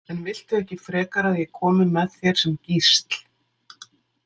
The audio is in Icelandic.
En viltu ekki frekar að ég komi með þér sem gísl?